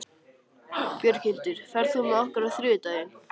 Björghildur, ferð þú með okkur á þriðjudaginn?